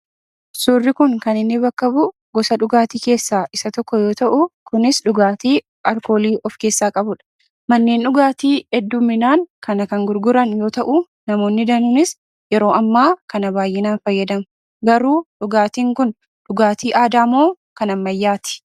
Suurri kun kan inni bakka bu'u gosa dhugaatii keessaa isa tokko yoo ta'u kunis dhugaatii aalkoolii of keessaa qabudha. Manneen dhugaatii hedduminaan kana kan gurguran yoo ta'uu namoonni danuuniis yeroo ammaa kana baayyinaan fayyadamu. Garuu dhugaatiin kun dhugaatii aadaamoo dhugaatii kan ammayyaati?